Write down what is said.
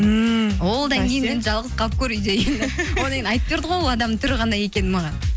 ммм одан кейін енді жалғыз қалып көр үйде енді одан кейін айтып берді ғой ол адамның түрі қандай екенін маған